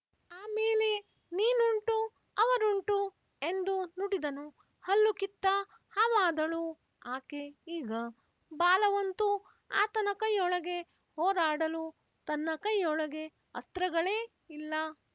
ಆಮೇಲೆ ನೀನುಂಟು ಅವರುಂಟು ಎಂದು ನುಡಿದನು ಹಲ್ಲು ಕಿತ್ತ ಹಾವಾದಳು ಆಕೆ ಈಗ ಬಾಲವಂತೂ ಆತನ ಕೈಯೊಳಗೆ ಹೋರಾಡಲು ತನ್ನ ಕೈಯೊಳಗೆ ಅಸ್ತ್ರಗಳೇ ಇಲ್ಲ